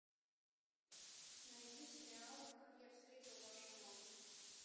найди сериал как я встретил вашу маму